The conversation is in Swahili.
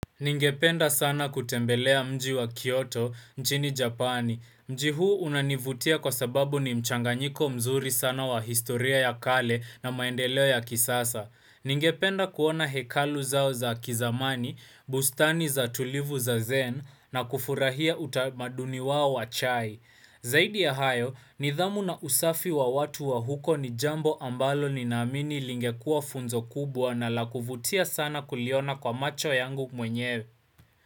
Ningependa sana kutembelea mji wa Kyoto, nchini Japani. Mji huu unanivutia kwa sababu ni mchanganyiko mzuri sana wa historia ya kale na maendeleo ya kisasa. Ningependa kuona hekalu zao za kizamani, bustani za tulivu za zen na kufurahia utamaduni wao wa chai. Zaidi ya hayo nidhamu na usafi wa watu wa huko ni jambo ambalo ni naamini lingekuwa funzo kubwa na la kuvutia sana kuliona kwa macho yangu mwenyewe.